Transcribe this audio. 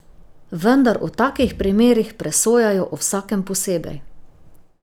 Vendar o takih primerih presojajo o vsakem posebej.